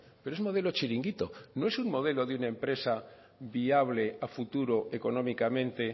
pero es modelo chiringuito no es un modelo de una empresa viable a futuro económicamente